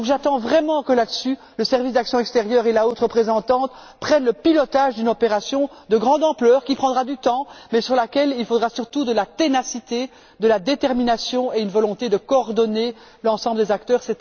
J'attends donc vraiment que, sur ce sujet, le service pour l'action extérieure et la haute représentante assument le pilotage d'une opération de grande ampleur, qui prendra du temps, mais qui exigera surtout de la ténacité, de la détermination et une volonté de coordonner l'ensemble des acteurs.